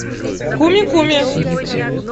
куми куми